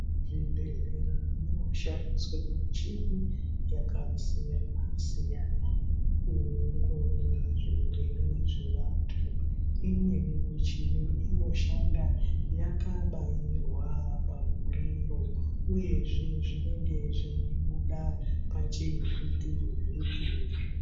Zvibhedhlera munoshandiswe michini yakasiya siyani inoongorora zvirwere zvevantu imweni michini inoshanda yakabairwa pamuriro uye uye zvinhu zvinenge zveibuda pachivhiti vhiti.